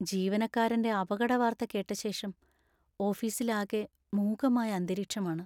ജീവനക്കാരൻ്റെ അപകടവാർത്ത കേട്ടശേഷം ഓഫീസിലാകെ മൂകമായ അന്തരീക്ഷമാണ്.